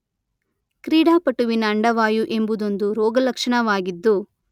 ಕ್ರೀಡಾಪಟುವಿನ ಅಂಡವಾಯು ಎಂಬುದೊಂದು ರೋಗಲಕ್ಷಣವಾಗಿದ್ದು